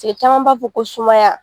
Cɛ caman b'a fɔ ko sumaya.